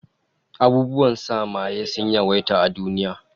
Abubuwan sa maye sun yawaita a duniya